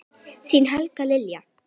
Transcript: Þín Helga Lilja.